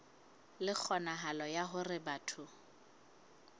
le kgonahalo ya hore batho